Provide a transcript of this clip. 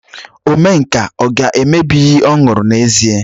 Omenka ọ ga-emebi iyi ọ ṅụrụ n'ezie?